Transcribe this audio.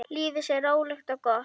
Lífið sé rólegt og gott.